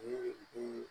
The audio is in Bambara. Ni